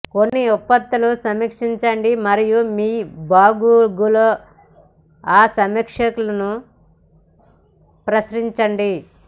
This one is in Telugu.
కొన్ని ఉత్పత్తులు సమీక్షించండి మరియు మీ బ్లాగులో ఆ సమీక్షలను ప్రచురించండి